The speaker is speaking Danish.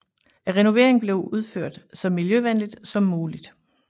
Renoveringen blev udført så miljøvenligt som muligt